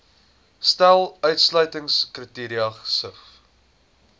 stel uitsluitingskriteria gesif